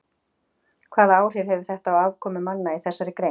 Hvaða áhrif hefur þetta á afkomu manna í þessari grein?